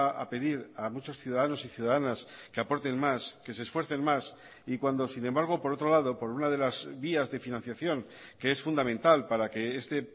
a pedir a muchos ciudadanos y ciudadanas que aporten más que se esfuercen más y cuando sin embargo por otro lado por una de las vías de financiación que es fundamental para que este